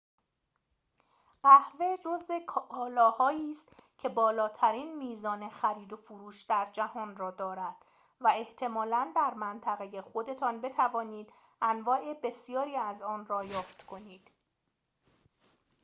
قهوه جزء کالاهایی است که بالاترین میزان خریدوفروش در جهان را دارد و احتمالاً در منطقه خودتان بتوانید انواع بسیاری از آن را یافت کنید